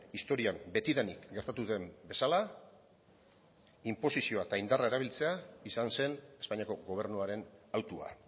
historian betidanik gastatu den bezala inposizioa eta indarra erabiltzea izan zen espainiako gobernuaren hautua